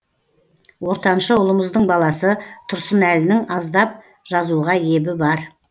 ортаншы ұлымыздың баласы тұрсынәлінің аздап жазуға ебі бар